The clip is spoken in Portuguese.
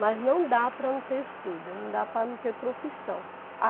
Mas não dá para não ter estudo, não dá para não ter profissão. A